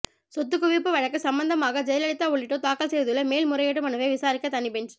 சொத்துக்குவிப்பு வழக்கு சம்பந்தமாக ஜெயலலிதா உள்ளிட்டோர் தாக்கல் செய்துள்ள மேல் முறையீட்டு மனுவை விசாரிக்க தனி பெஞ்ச்